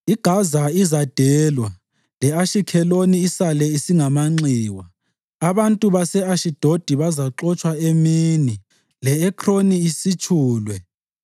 IGaza izadelwa le-Ashikheloni isale isingamanxiwa. Abantu base-Ashidodi bazaxotshwa emini, le-Ekroni isitshulwe.